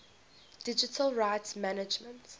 digital rights management